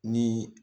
Ni